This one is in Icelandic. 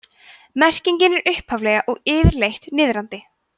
merkingin er upphaflega og yfirleitt niðrandi